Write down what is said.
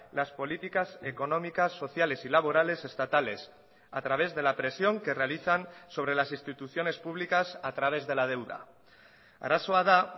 las políticas económicas sociales y laborales estatales a través de la presión que realizan sobre las instituciones públicas a través de la deuda arazoa da